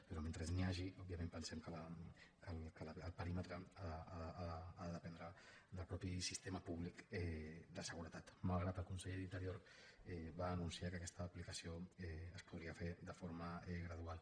però mentre n’hi hagi òbviament pensem que el perímetre ha de dependre del mateix sistema públic de seguretat malgrat que el conseller d’interior va anunciar que aquesta aplicació es podria fer de forma gradual